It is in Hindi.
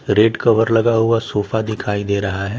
रेड कवर लगा हुआ सोफा दिखाई दे रहा है।